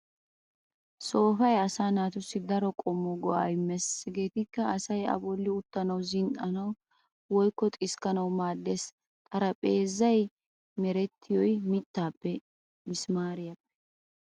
Soofay asaa naatussi daro qommo go'aa immees hegeetikka:- asay a bolli uttanawu, zin"anawu woykko xiskkanawu maaddees. Xarapheezzay merettiyoy mittaappenne misimaariyaappe